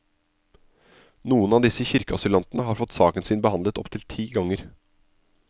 Noen av disse kirkeasylantene har fått saken sin behandlet opptil ti ganger.